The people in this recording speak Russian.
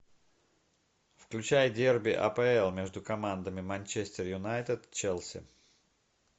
включай дерби апл между командами манчестер юнайтед челси